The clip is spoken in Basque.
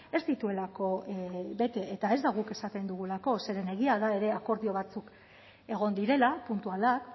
ez dituelako bete eta ez da guk esaten dugulako zeren egia da ere akordio batzuk egon direla puntualak